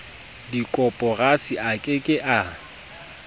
dikoporasi a ke ke a